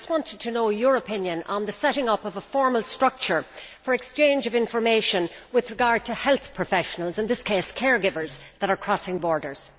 I just wanted to know your opinion on the setting up of a formal structure for exchange of information with regard to health professionals, in this case, care givers, who cross borders.